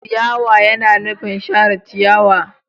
Ciyawa yana nufin share ciyawa.